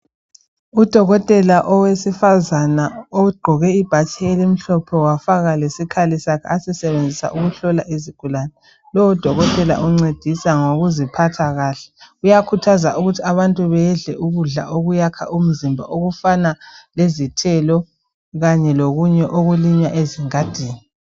Udokotela owesifazana ogqoke ibhatshi elimhlophe wafaka lesikhali sakhe asisebenzisa ukuhlola izigulani. Lowo dokotela uncedisa ngokuziphatha kahle uyakhuthaza ukuthi abantu bedle ukudla okuyakha umzimba okufana lezithelo kanye lokunye okulinywa ezingadini.